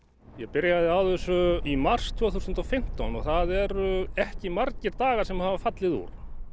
ég byrjaði á þessu í mars tvö þúsund og fimmtán og það eru ekki margir dagar sem að hafa fallið út